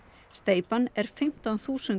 steypan er fimmtán þúsund